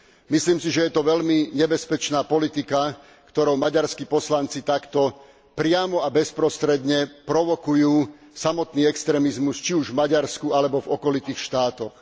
Myslím si, že je to veľmi nebezpečná politika, ktorou maďarskí poslanci takto priamo a bezprostredne provokujú samotný extrémizmus, či už v Maďarsku alebo v okolitých štátoch.